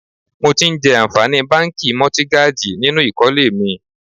Mo ti ń jẹ àǹfààní báńkì Mọ́tígájì nínú ìkólé mi.